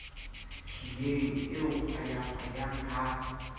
hlileng e o hwayahwayang ha